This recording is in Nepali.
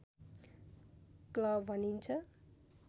क्ल भनिन्छ